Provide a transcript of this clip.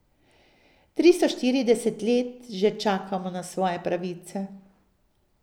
Tristo štirideset let že čakamo na svoje pravice.